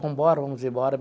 Vamos embora vamos embora.